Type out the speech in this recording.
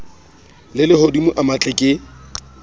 a lehodimo a matle ke